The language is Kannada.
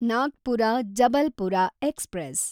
ನಾಗ್ಪುರ–ಜಬಲ್ಪುರ ಎಕ್ಸ್‌ಪ್ರೆಸ್